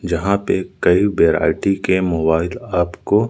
जहां पे कई बेरायटी के मोबाइल आपको--